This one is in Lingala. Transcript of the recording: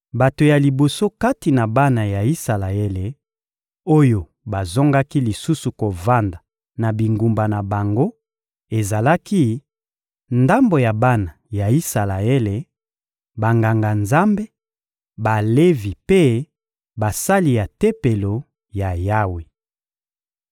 Bato ya liboso kati na bana ya Isalaele oyo bazongaki lisusu kovanda na bingumba na bango, ezalaki: ndambo ya bana ya Isalaele, Banganga-Nzambe, Balevi mpe basali ya Tempelo ya Yawe.